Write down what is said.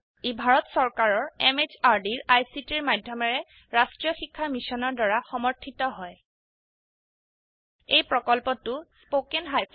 ই ভাৰত চৰকাৰৰ MHRDৰ ICTৰ মাধয়মেৰে ৰাস্ত্ৰীয় শিক্ষা মিছনৰ দ্ৱাৰা সমৰ্থিত হয় এই প্ৰকল্পটো httpspoken tutorialorg দ্বাৰা পৰিচালিত হয়